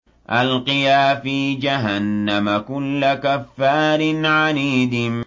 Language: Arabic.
أَلْقِيَا فِي جَهَنَّمَ كُلَّ كَفَّارٍ عَنِيدٍ